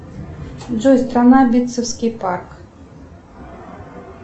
джой страна битцевский парк